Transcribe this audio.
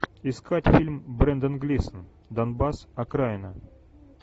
искать фильм брендан глисон донбасс окраина